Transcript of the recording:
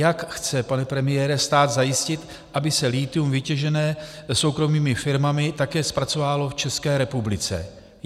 Jak chce, pane premiére, stát zajistit, aby se lithium vytěžené soukromými firmami také zpracovávalo v České republice?